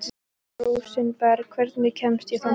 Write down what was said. Rósinberg, hvernig kemst ég þangað?